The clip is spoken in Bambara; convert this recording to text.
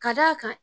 Ka d'a kan